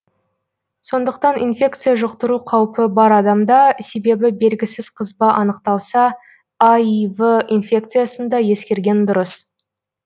сондықтан инфекция жұқтыру қаупі бар адамда себебі белгісіз қызба анықталса аив инфекциясын да ескерген дұрыс